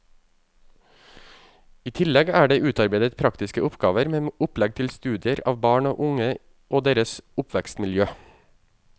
I tillegg er det utarbeidet praktiske oppgaver med opplegg til studier av barn og unge og deres oppvekstmiljø.